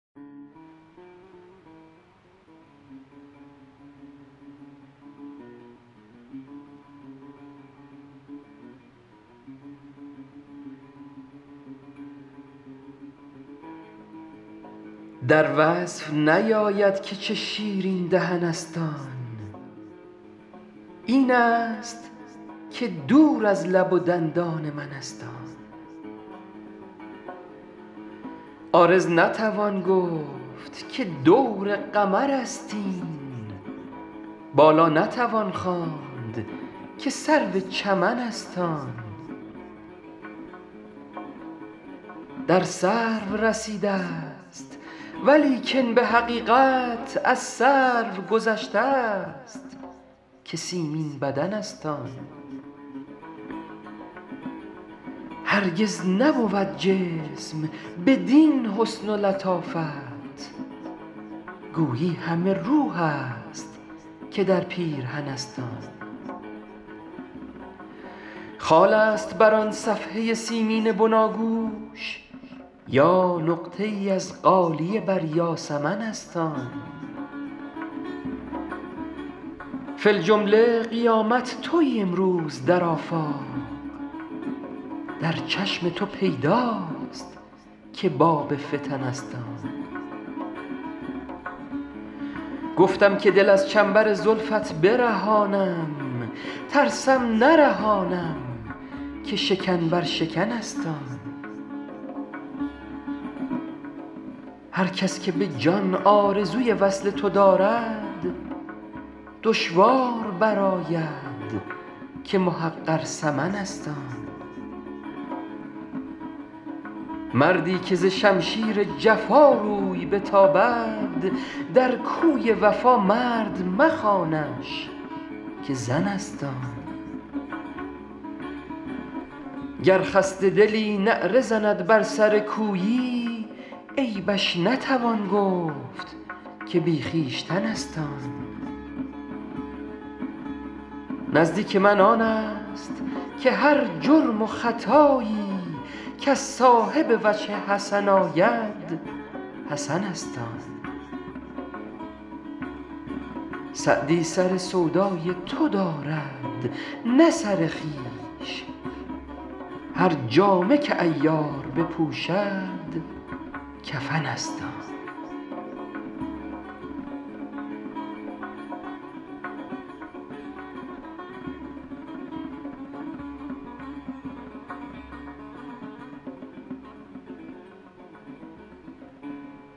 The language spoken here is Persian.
در وصف نیاید که چه شیرین دهن است آن این است که دور از لب و دندان من است آن عارض نتوان گفت که دور قمر است این بالا نتوان خواند که سرو چمن است آن در سرو رسیده ست ولیکن به حقیقت از سرو گذشته ست که سیمین بدن است آن هرگز نبود جسم بدین حسن و لطافت گویی همه روح است که در پیرهن است آن خال است بر آن صفحه سیمین بناگوش یا نقطه ای از غالیه بر یاسمن است آن فی الجمله قیامت تویی امروز در آفاق در چشم تو پیداست که باب فتن است آن گفتم که دل از چنبر زلفت برهانم ترسم نرهانم که شکن بر شکن است آن هر کس که به جان آرزوی وصل تو دارد دشوار برآید که محقر ثمن است آن مردی که ز شمشیر جفا روی بتابد در کوی وفا مرد مخوانش که زن است آن گر خسته دلی نعره زند بر سر کویی عیبش نتوان گفت که بی خویشتن است آن نزدیک من آن است که هر جرم و خطایی کز صاحب وجه حسن آید حسن است آن سعدی سر سودای تو دارد نه سر خویش هر جامه که عیار بپوشد کفن است آن